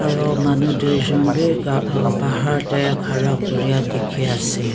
aru manu duijont bhi bahar te khara kori a dekhi ase.